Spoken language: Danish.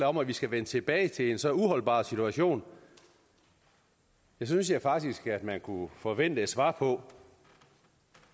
om at vi skal vende tilbage til en så uholdbar situation synes jeg faktisk at man kunne forvente et svar på